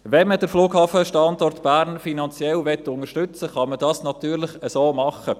Wenn man den Flughafenstandort Bern finanziell unterstützen will, kann man dies natürlich so machen.